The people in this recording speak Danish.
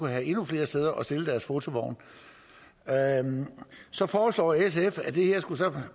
have endnu flere steder at stille deres fotovogne så foreslår sf at det her